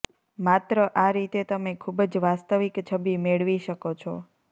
માત્ર આ રીતે તમે ખૂબ જ વાસ્તવિક છબી મેળવી શકો છો